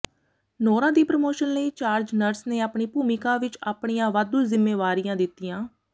Nora ਦੀ promotion ਲਈ charge nurse ਨੇ ਆਪਣੀ ਭੂਮਿਕਾ ਵਿਚ ਆਪਣੀਆਂ ਵਾਧੂ ਜ਼ਿੰਮੇਵਾਰੀਆਂ ਦਿੱਤੀਆਂ